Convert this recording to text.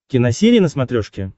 киносерия на смотрешке